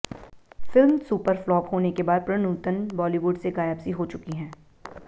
film super flop होने के बाद प्रनुतन बॉलीवुड से गायब सी हो चुकी है